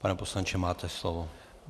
Pane poslanče, máte slovo.